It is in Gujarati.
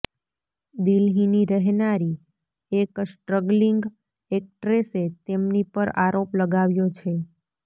દિલ્લીની રહેનારી એક સ્ટ્રગલિંગ એક્ટ્રેસે તેમની પર આરોપ લગાવ્યો છે